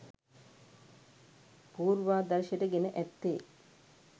පූර්වාදර්ශයට ගෙන ඇත්තේ